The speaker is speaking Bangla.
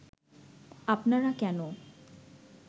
আপনারা কেন